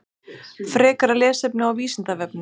Frekara lesefni á Vísindavefnum: